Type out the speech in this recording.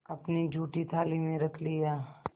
अपनी जूठी थाली में रख लिया